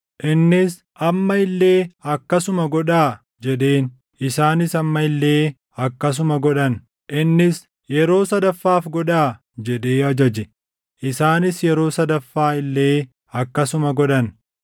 Innis, “Amma illee akkasuma godhaa” jedheen; isaanis amma illee akkasuma godhan. Innis, “Yeroo sadaffaaf godhaa” jedhee ajaje; isaanis yeroo sadaffaa illee akkasuma godhan.